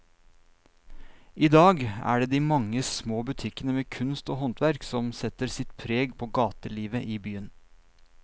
I dag er det de mange små butikkene med kunst og håndverk som setter sitt preg på gatelivet i byen.